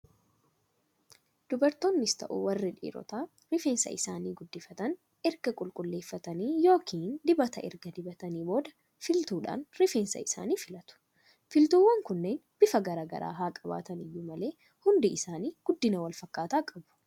Dubartoonnis ta'u warri dhiirotaa rifeensa isaanii guddifatan, erga qulqulleeffatanii yookiin dibata erga dibataniin booda filtuudhaan rifeensa isaanii filatu. Filtuuwwan kunneen bifa garaa garaa haa qabaatani iyyuu malee hundi isaanii guddina walfakkaataa qabu.